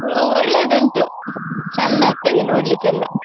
ಅದು ಒಳ್ಳೆದುಂಟು, ಚಂದ ಅಗ್ತದೆ ನೋಡ್ಲಿಕ್ಕೆಲ್ಲ.